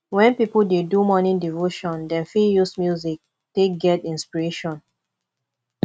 when pipo dey do morning devotion dem fit use music take get inspiration